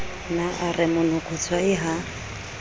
ne a re monokotshwai ha